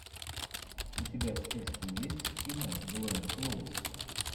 у тебя в списке есть кино с гленн клоуз